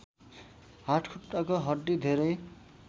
हातखुट्टाको हड्डी धेरै